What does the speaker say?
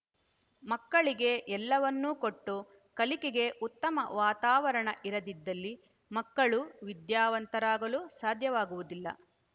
ಮಕ್ಕಳಿಗೆ ಎಲ್ಲವನ್ನೂ ಕೊಟ್ಟು ಕಲಿಕೆಗೆ ಉತ್ತಮ ವಾತಾವರಣ ಇರದಿದ್ದಲ್ಲಿ ಮಕ್ಕಳು ವಿದ್ಯಾವಂತರಾಗಲು ಸಾಧ್ಯವಾಗುವುದಿಲ್ಲ